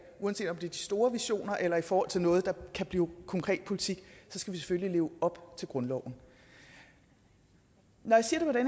uanset om det er de store visioner eller i forhold til noget der kan blive konkret politik så skal vi selvfølgelig leve op til grundloven når jeg siger det